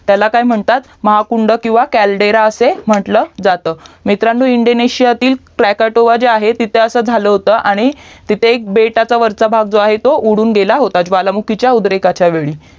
त्याला काय म्हणतात महा कुंड किव्हा CALDERA अस म्हंटलं जातं मित्रांनो इंदोंनेसियातील क्लाकेटोवा जे आहे तिथे असा झाल होतं आणि तिथे एका बेटाच्या वरचा भाग जो आहे तो उडून गेला होता ज्वालामुखीच्या उद्रेकाच्या वेळी